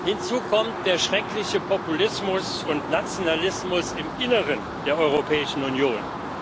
Hinzu kommt der schreckliche Populismus und Nationalismus im Inneren der Europäischen Union.